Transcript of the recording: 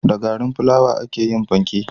Da garin filawa ake yin fanke